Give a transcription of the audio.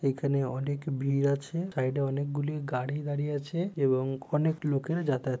এখানে অনেক ভির আছে। সাইডে অনেকগুলি গাড়ি দাঁড়িয়ে আছে এবং অনেক লোকেরা যাতায়াত --